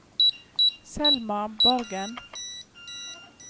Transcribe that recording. Selma Borgen